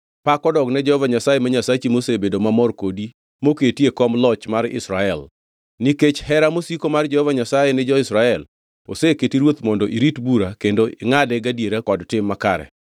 Pak odogne Jehova Nyasaye ma Nyasachi mosebedo mamor kodi moketi e kom loch mar Israel. Nikech hera mosiko mar Jehova Nyasaye ni jo-Israel oseketi ruoth mondo irit bura kendo ingʼade gadiera kod tim makare.”